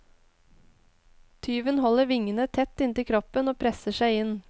Tyven holder vingene tett inntil kroppen og presser seg inn.